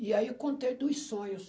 E aí eu contei dos sonhos.